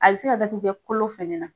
A be se ka dadigi kɛ kolo fɛnɛ na.